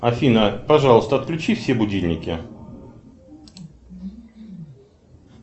афина пожалуйста отключи все будильники